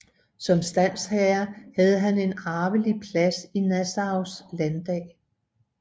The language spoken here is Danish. Som standsherre have han en arvelig plads i Nassaus landdag